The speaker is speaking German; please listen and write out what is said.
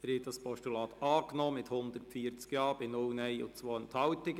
Sie haben dieses Postulat angenommen mit 140 Ja- gegen 0 Nein-Stimmen bei 2 Enthaltungen.